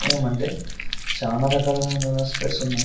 ఏమంటే చాలా రకాలుగా స్పెక్టస్ ఉన్నాయి.